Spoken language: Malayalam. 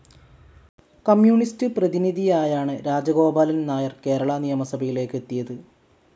കമ്മ്യൂണിസ്റ്റ്‌ പ്രതിനിധിയായാണ് രാജഗോപാലൻ നായർ കേരള നിയമസഭയിലേക്കെത്തിയത്.